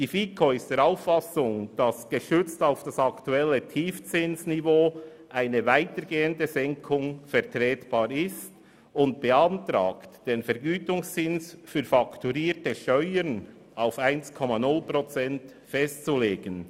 Die FiKo ist der Auffassung, eine weitergehende Senkung gestützt auf das aktuelle Tiefzinsniveau sei vertretbar, und beantragt, den Vergütungszins für fakturierte Steuern auf 1,0 Prozent festzulegen.